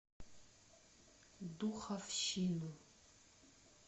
духовщину